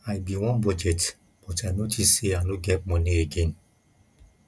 i bin wan budget but i notice say i no get money again